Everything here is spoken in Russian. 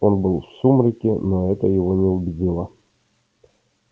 он был в сумраке но это его не убедило